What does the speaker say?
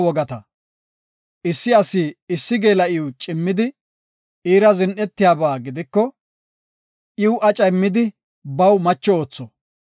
“Issi asi issi geela7iw cimmidi, iira zin7etiyaba gidiko, iw aca immidi, baw macho ootho.